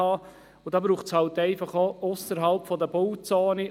Und dafür braucht es halt eben auch Möglichkeiten ausserhalb der Bauzone.